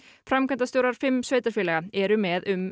framkvæmdastjórar fimm sveitarfélaga eru með um